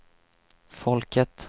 folket